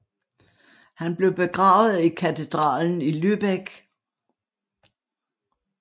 Han blev begravet i katedralen i Lübeck